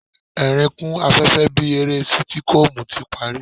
Ẹ̀ẹ̀rín kún afẹ́fẹ́ bí eré sítíkọ́ọ̀mù ti parí.